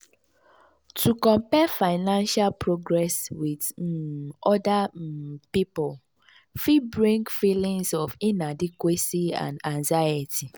to compare financial progress with um other um pipul fit bring feelings of inadequacy and anxiety.